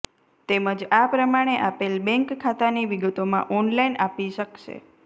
તેમજ આ પ્રમાણે આપેલ બેંક ખાતાની વિગતોમાં ઓનલાઈન આપી શકશે